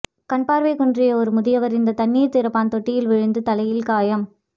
கண்பார்வை குன்றிய ஒரு முதியவர் இந்த தண்ணீர் திறப்பான் தொட்டியில் விழுந்து தலையில் காயம்